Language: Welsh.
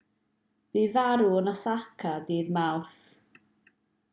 bu farw yn osaka ddydd mawrth